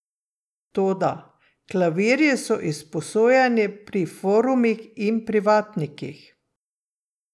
Toda: "Klavirji so izposojeni pri forumih in privatnikih.